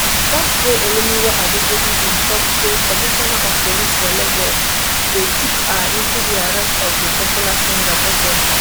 force pro olumuyiwa adejobi bin tok say commissioner of police for lagos go chook eye into di arrest of di popular singer portable